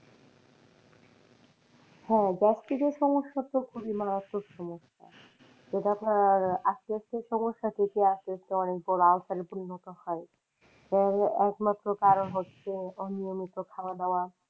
হ্যাঁ gastric এর সমস্যা তো খুবই মারাত্মক সমস্যা ওটা সমস্যা থেকে আসতে আসতে অনেক বড় আলসারে পূর্ণ হয়, এর একমাত্র কারন হচ্ছে অনিয়মিত খাওয়া দাওয়া।